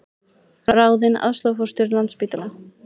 Ráðinn aðstoðarforstjóri Landspítala